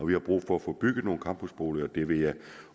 vi har brug for at få bygget nogle campusboliger og det vil jeg